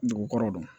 Dugu kɔrɔ